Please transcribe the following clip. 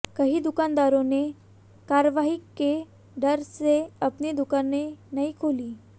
कई दुकानदारों ने कार्रवाई के डर से अपनी दुकानेें नहीं खोली